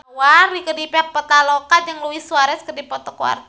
Rieke Diah Pitaloka jeung Luis Suarez keur dipoto ku wartawan